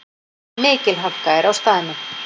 Mikil hálka er á staðnum